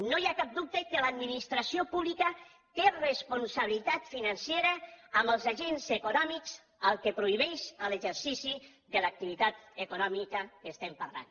no hi ha cap dubte que l’administració pública té responsabilitat financera amb els agents econòmics als quals prohibeix l’exercici de l’activitat econòmica que estem parlant